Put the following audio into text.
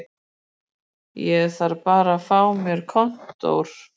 Ég þarf bara að fá mér kontór